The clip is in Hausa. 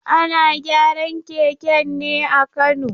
Ana gyaran keken ne a Kano.